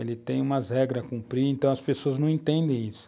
Ele tem umas regras a cumprir, então as pessoas não entendem isso.